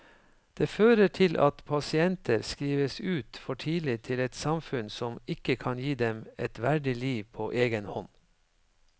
Det fører til at pasienter skrives ut for tidlig til et samfunn som ikke kan gi dem et verdig liv på egen hånd.